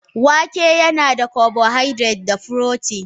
Wake yana da carbohydrate da furotin.